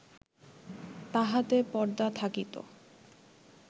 তাহাতে পর্দা থাকিত